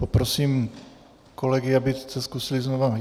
Poprosím kolegy, aby se zkusili znova...